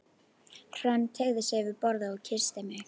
Hrönn teygði sig yfir borðið og kyssti mig.